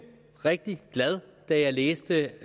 rigtig glad da jeg læste